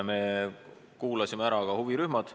Me kuulasime ära huvirühmad.